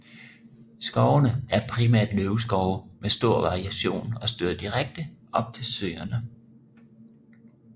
Skovene er primært løvskove med stor variation og støder direkte op til søerne